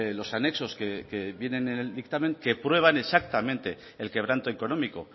los anexos que vienen en el dictamen que prueban exactamente el quebranto económico